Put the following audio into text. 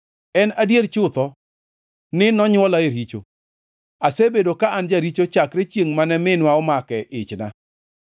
En adier chutho ni nonywola e richo asebedo ka an jaricho chakre chiengʼ mane minwa omake ichna.